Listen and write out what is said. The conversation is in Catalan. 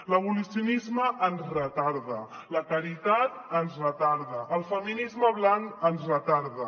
l’abolicionisme ens retarda la caritat ens retarda el feminisme blanc ens retarda